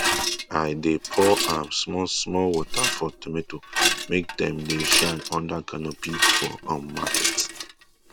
i dey pour um small small water for tomato make dem dey shine under canopy for um market